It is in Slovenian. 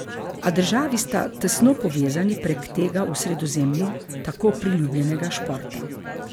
A državi sta tesno povezani prek tega v Sredozemlju tako priljubljenega športa.